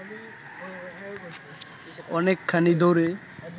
অনেকখানি দৌড়ে